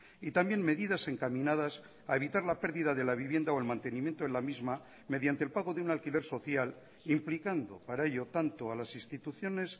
y también medidas encaminadas a evitar la pérdida de la vivienda o el mantenimiento de la misma mediante el pago de un alquiler social implicando para ello tanto a las instituciones